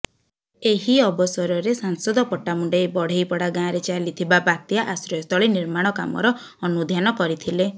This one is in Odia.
ଏହି ଅବସରରେ ସାଂସଦ ପଟ୍ଟାମୁଣ୍ଡାଇ ବଢେ଼ଇପଡ଼ା ଗାଁରେ ଚାଲିଥିବା ବାତ୍ୟା ଆଶ୍ରୟସ୍ଥଳୀ ନିର୍ମାଣ କାମର ଅନୁଧ୍ୟାନ କରିଥିଲେ